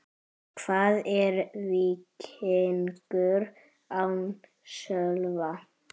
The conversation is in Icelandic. Hvað er Víkingur án Sölva?